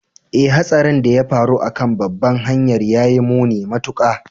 Ee, Hatsarin da ya faru a kan babbar hanyar ya yi muni matuƙa